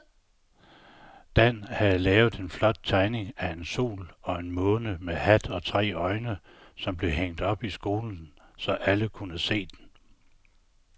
Dan havde lavet en flot tegning af en sol og en måne med hat og tre øjne, som blev hængt op i skolen, så alle kunne se den.